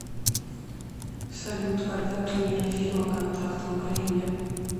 салют когда премьера фильма контакт в украине